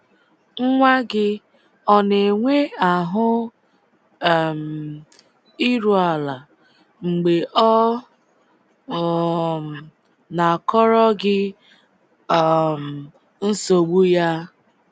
Nwa gị ọ na-enwe ahụ um iru ala mgbe ọ um na-akọrọ gị um nsogbu ya?